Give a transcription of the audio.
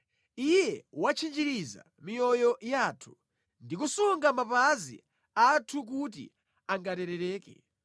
Iye watchinjiriza miyoyo yathu ndi kusunga mapazi athu kuti angaterereke.